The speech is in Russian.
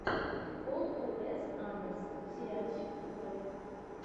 пол у с андерсон сериальчик открой